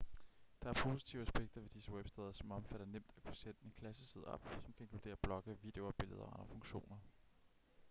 der er positive aspekter ved disse websteder som omfatter nemt at kunne sætte en klasseside op som kan inkludere blogge videoer billeder og andre funktioner